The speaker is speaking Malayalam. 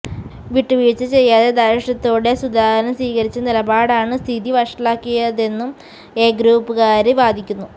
വിട്ടുവീഴ്ച ചെയ്യാതെ ധാര്ഷ്ട്യത്തോടെ സുധാകരന് സ്വീകരിച്ച നിലപാടാണ് സ്ഥിതി വഷളാക്കിയതെന്നും എ ഗ്രൂപ്പുകാര് വാദിക്കുന്നു